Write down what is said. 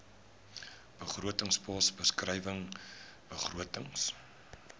begrotingspos beskrywing begrotings